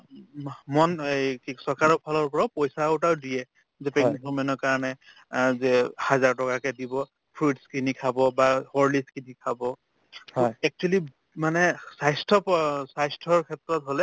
উম আহ্ মন এই কি চৰকাৰৰ ফালৰ পৰাও পইচাও এটা দিয়ে যে pregnant woman ৰ কাৰণে আৰ্ যে হাজাৰ টকাকে দিব fruits কিনি খাব বা horlicks কিনি খাব food actually মানে স্বাস্থ্য প স্বাস্থ্যৰ ক্ষেত্ৰত হলে